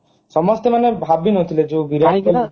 ସମସ୍ତେ ମାନେ ଭାବି ନଥିଲେ ଯୋଉ ବିରାଟ କୋହଲି